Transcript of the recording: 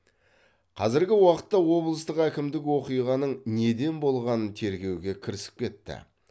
қазіргі уақытта облыстық әкімдік оқиғаның неден болғанын тергеуге кірісіп кетті